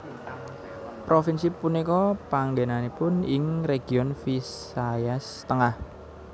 Provinsi punika panggènanipun ing Region Visayas Tengah